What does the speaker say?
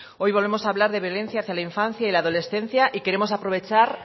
hoy volvemos a hablar de violencia hacia la infancia y adolescencia y queremos aprovechar